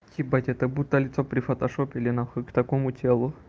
ебать это будто лицо прифотошопили нахуй к такому телу